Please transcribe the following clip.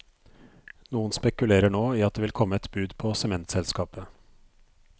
Noen spekulerer nå i at det vil komme et bud på sementselskapet.